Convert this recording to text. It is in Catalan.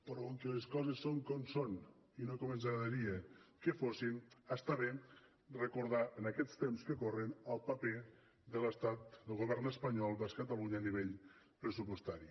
però com que les coses són com són i no com ens agradaria que fossin està bé recordar en aquests temps que corren el paper de l’estat del govern espanyol vers catalunya a nivell pressupostari